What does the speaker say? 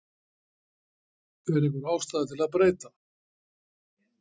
Er einhver ástæða til að breyta?